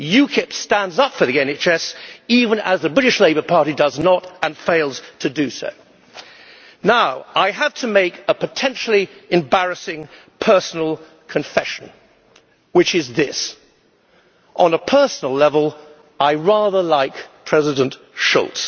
UKIP stands up for the NHS, even as the British Labour Party does not and fails to do so. I have to make a potentially embarrassing personal confession, which is this on a personal level, I rather like President Schulz.